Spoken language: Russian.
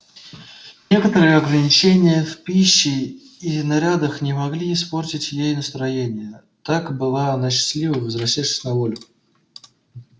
некоторые ограничения в пище и нарядах не могли испортить ей настроение так была она счастлива возвращавшись на волю